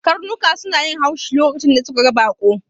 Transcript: Karnuka suna yin haushi lokacin da suka ga baƙo